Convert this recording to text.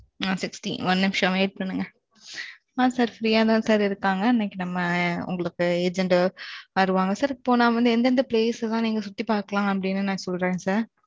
ஆ, sixteen ஒரு நிமிஷம், wait பண்ணுங்க. sirfree யாதான், sir இருக்காங்க. இன்னைக்கு, நம்ம, உங்களுக்கு, agent வருவாங்க. sir இப்போ நா வந்து, எந்தெந்த place எல்லாம், நீங்க, சுத்தி பாக்கலாம்? அப்படின்னு, நான் சொல்றேன், sir